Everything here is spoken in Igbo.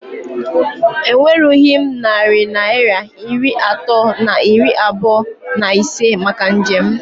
E nwerughị m narị Naịra iri atọ na iri abụọ na ise maka njem